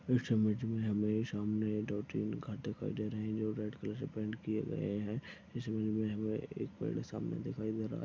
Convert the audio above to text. इस इमेज मे हमे सामने दो तीन घर दिखाई दे रहे है जो रेड कलर से पेंट किये गए है। इस ईमेज मे हमें एक पेड़ सामने दिखाई दे रहा है।